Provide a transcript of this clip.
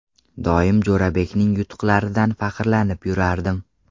Doim Jo‘rabekning yutuqlaridan faxrlanib yurardim.